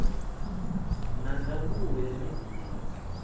na ndangulo ya midia ya